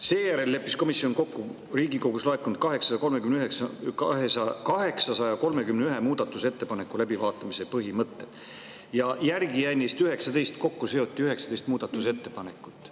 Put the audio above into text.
Seejärel leppis komisjon kokku Riigikogust laekunud 831 muudatusettepaneku läbivaatamise põhimõtted ja järgi jäi neist kokkuseotult 19 ettepanekut.